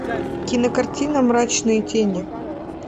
кинокартина мрачные тени